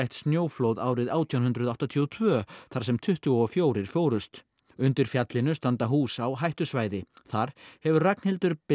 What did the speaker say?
snjóflóð árið átján hundruð áttatíu og tvö þar sem tuttugu og fjögur fórust undir fjallinu standa hús á hættusvæði þar hefur Ragnhildur